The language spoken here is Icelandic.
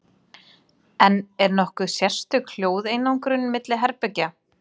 En er nokkur sérstök hljóðeinangrun milli herbergja?